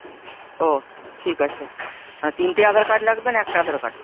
ও ঠিক আছে মানে তিনটে আধার card লাগবে না একটা আধার card?